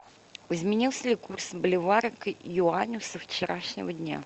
изменился ли курс боливара к юаню со вчерашнего дня